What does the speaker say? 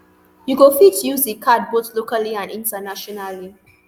you go fit use di card both locally and internationally